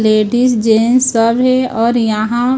ladies gents सब है और यहां--